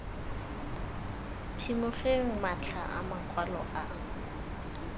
phimogeng matlha a makwalo a